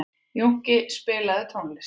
Jónki, spilaðu tónlist.